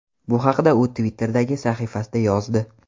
Bu haqda u Twitter’dagi sahifasida yozdi .